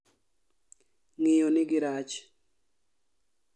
Ng'iyo nigi rach